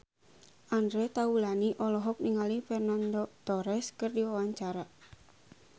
Andre Taulany olohok ningali Fernando Torres keur diwawancara